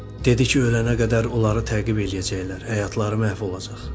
Dedi ki, ölənə qədər onları təqib eləyəcəklər, həyatları məhv olacaq.